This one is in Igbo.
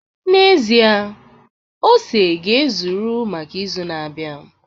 N'ezie, ose ga-ezuru maka izu na-abịa